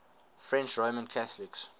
french roman catholics